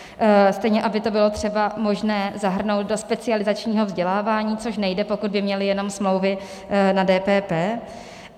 Stejně aby to bylo třeba možné zahrnout do specializačního vzdělávání, což nejde, pokud by měli jenom smlouvy na DPP.